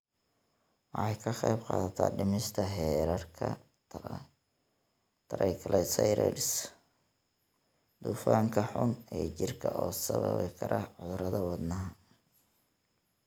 Waxay ka qaybqaadataa dhimista heerarka triglycerides, dufanka xun ee jirka oo sababi kara cudurrada wadnaha.